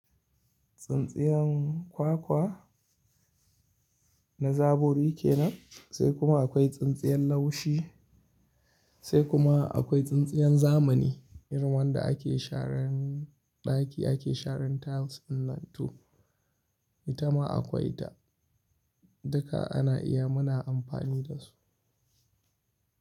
Tsintsiyan kwakwa na zabo rike nan, sai kuma akwai tsintsiyan laushi sai kuma akwai tsintsiyan zamani irin wanda ake sharan ɗaki, ake sharan tiles dinnan to. Ita ma akwai da duka ana iya muna amfani da su.